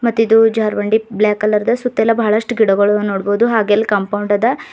ಮತ್ತೆ ಇಲ್ಲಿ ಜಾರಬಂಡಿ ಬ್ಲಾಕ್ ಕಲರ್ ದ ಮತ್ತೆಲ್ಲ ಬಹಳಷ್ಟು ಗಿಡಗಳನ್ನು ನೋಡಬಹುದು ಹಾಗೆ ಇಲ್ಲಿ ಕಾಂಪೌಂಡ್ ಅದ.